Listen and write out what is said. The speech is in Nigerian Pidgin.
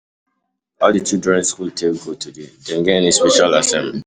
How di children school take go today? Dem get any special assignment?